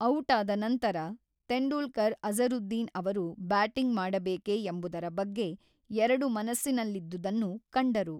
ಔಟಾದ ನಂತರ, ತೆಂಡೂಲ್ಕರ್ ಅಜರುದ್ದೀನ್ ಅವರು ಬ್ಯಾಟಿಂಗ್ ಮಾಡಬೇಕೆ ಎಂಬುದರ ಬಗ್ಗೆ ಎರಡು ಮನಸ್ಸಿನಲ್ಲಿದ್ದುದನ್ನು ಕಂಡರು.